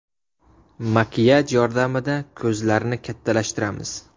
Makiyaj yordamida ko‘zlarni kattalashtiramiz.